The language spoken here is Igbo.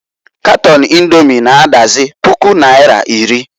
Katon Indomi na -adazi puku naira iri.